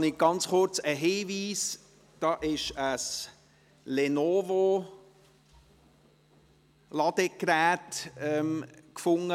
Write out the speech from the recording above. Ein kurzer Hinweis: Es wurde ein Lenovo-Ladegerät gefunden.